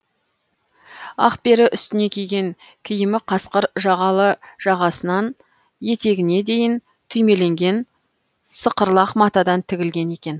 ақпері үстіне киген киімі қасқыр жағалы жағасынан етегіне дейін түймеленген сықырлақ матадан тігілген екен